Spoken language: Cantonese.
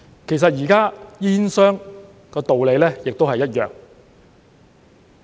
其實現時煙商的道理亦一樣。